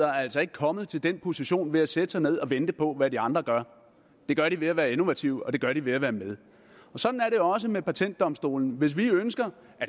er altså ikke kommet til den position ved at sætte sig ned og vente på hvad de andre gør det gør de ved at være innovative og det gør de ved at være med sådan er det også med patentdomstolen hvis vi ønsker